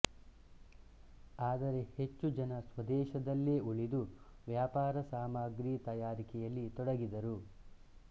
ಆದರೆ ಹೆಚ್ಚು ಜನ ಸ್ವದೇಶದಲ್ಲೇ ಉಳಿದು ವ್ಯಾಪಾರ ಸಾಮಗ್ರಿ ತಯಾರಿಕೆಯಲ್ಲಿ ತೊಡಗಿದರು